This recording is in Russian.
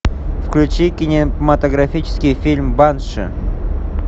включи кинематографический фильм банши